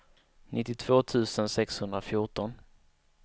nittiotvå tusen sexhundrafjorton